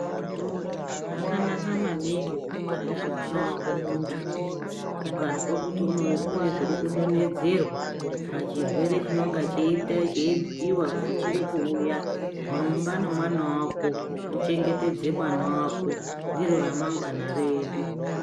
Zvakanaka maningi ku ngwarira mwana wako muntu ukazwe kuti kune zviriku donhedzerwa pa chirwere chinonga chei bhuyiwa kuti chiri kuuya rumba ne mwana wako u chengetedze mwana wako ndiro ra mangwana redu.